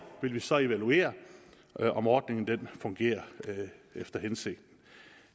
vil vi så evaluere om ordningen fungerer efter hensigten